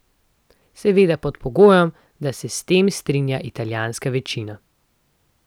Seveda pod pogojem, da se s tem strinja italijanska večina.